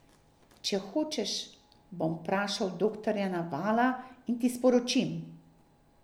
Če hočeš, bom vprašal doktorja Navala in ti sporočim.